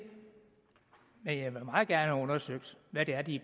men jeg vil meget gerne have undersøgt hvad det er de